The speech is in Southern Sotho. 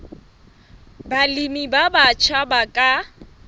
balemi ba batjha ba ka